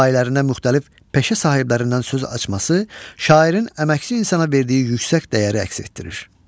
Rübailərində müxtəlif peşə sahiblərindən söz açması şairin əməkçi insana verdiyi yüksək dəyəri əks etdirir.